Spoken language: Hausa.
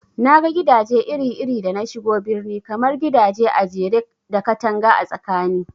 Naga gidaje iri iri da nashigo birni, kamar gidaje ajere da katanga a tsakani